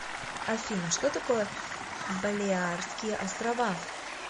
афина что такое балеарские острова